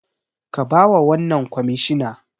Ka bawa wannan kwamishina